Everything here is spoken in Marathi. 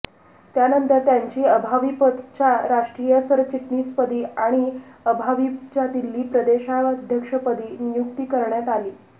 त्यानंतर त्यांची अभाविपच्या राष्ट्रीय सरचिटणीसपदी आणि अभाविपच्या दिल्ली प्रदेशाध्यक्षपदी नियुक्ती करण्यात आली